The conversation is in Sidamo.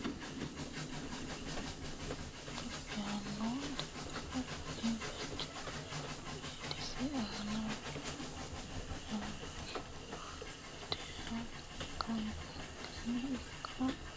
Togo yaano dhibbu kuni techo Eedisi aana wolu laooshshu geeshsha gobbankenni ikko alametenni qarri kullannihu mereerinni eedisinni bainokkiha ikkirono manchi beetti konni amadamino manni gargarooshsheho dhibbira noosi laonna waajja shiimate.